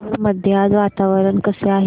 भोर मध्ये आज वातावरण कसे आहे